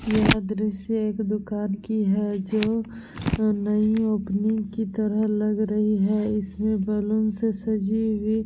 यह दृश्य एक दूकान की है जो नई ओपनिंग की तरह लग रही है। इसमें बैलून से सजी हुई --